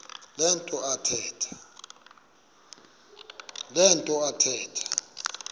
le nto athetha